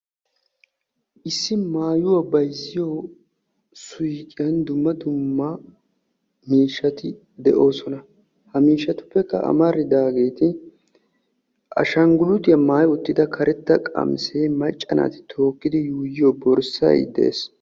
Issi maayuwa bayzziyo suyqqiyan dumma dumma miishshatti de'osonna. Ha suyqqiyan maca asaa qolee de'ees.